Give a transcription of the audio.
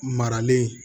Maralen